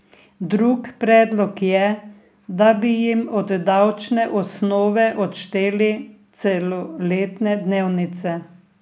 Drug predlog je, da bi jim od davčne osnove odšteli celoletne dnevnice.